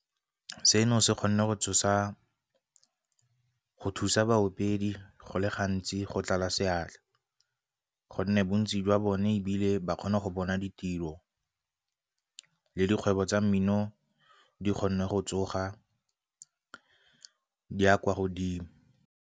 Seno se kgonne go tsosa, go thusa baopedi go le gantsi go tlala seatla gonne bontsi jwa bone ebile ba kgona go bona ditiro le dikgwebo tsa mmino di kgone go tsoga di ya kwa godimo.